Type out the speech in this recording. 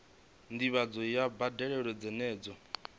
ndivhadzo ya mbadelo dzenedzo i